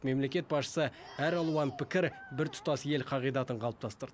мемлекет басшысы әралуан пікір біртұтас ел қағидатын қалыптастырды